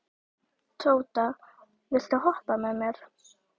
Tóta, viltu hoppa með mér?